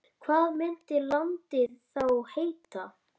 Hvað myndi landið þá heita?